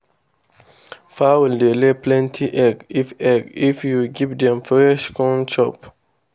fowl dey lay plenty egg if egg if you give dem fresh corn chop.